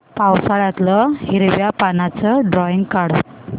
पावसाळ्यातलं हिरव्या पानाचं ड्रॉइंग काढ